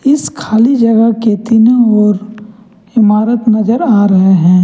इस खाली जगह के तीनों ओर इमारत नजर आ रहे हैं।